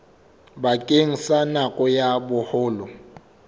bakeng sa nako ya boholo